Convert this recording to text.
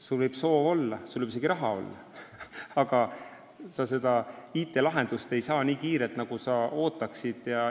Sul võib soov olla ja sul võib isegi raha olla, aga sa ei saa IT-lahendust nii kiirelt, nagu sa ootaksid.